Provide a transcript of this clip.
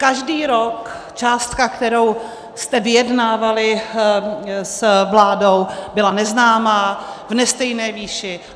Každý rok částka, kterou jste vyjednávali s vládou, byla neznámá, v nestejné výši.